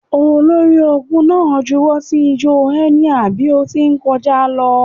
Olori-ogun na juwọ si ijọ enia bi o ti nkọja lọ.